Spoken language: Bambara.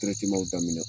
daminɛ